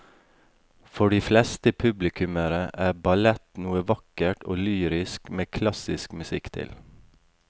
For de fleste publikummere er ballett noe vakkert og lyrisk med klassisk musikk til.